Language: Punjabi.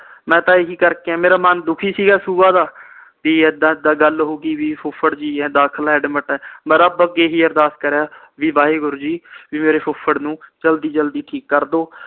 ਮੈਂ ਤਾ ਇਹੀ ਕਰਕੇ ਆਇਆ ਮੇਰਾ ਮਨ ਦੁਖੀ ਸੀ ਗਾ ਸੁਬਹ ਦਾ ਪੀ ਏਦਾਂ ਏਦਾਂ ਗੱਲ ਹੋਗੀ ਵੀ ਫੁਫੜ ਜੀ ਦਾਖ਼ਲ ਆ ਜਾ ਅਡਮਿਟ ਆ ਮੈਂ ਰੱਬ ਅੱਗੇ ਇਹੀ ਅਰਦਾਸ ਕਰ ਆਇਆ ਵੀ ਵਾਹਿਗੁਰੂ ਜੀ ਮੇਰੇ ਫੁੱਫੜ ਨੂੰ ਜਲਦੀ ਜਲਦੀ ਠੀਕ ਕਰਦੋ